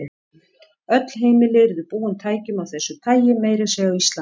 Öll heimili yrðu búin tækjum af þessu tagi, meira að segja á Íslandi.